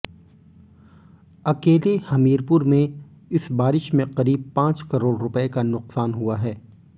अकेले हमीरपुर में इस बारिश में करीब पांच करोड़ रुपए का नुकसान हुआ है